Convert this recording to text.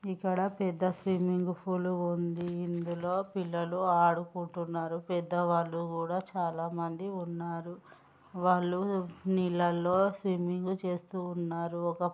ఇక్కడ పెద్ద swimming pool ఉంది ఇందులో పిల్లలు ఆడుకుంటున్నారు పెద్దవాళ్ళు కూడా చాలా మంది ఉన్నారు వాళ్ళు నీళ్ళల్లో స్విమ్మింగ్ చేస్తూ ఉన్నారు ఒక--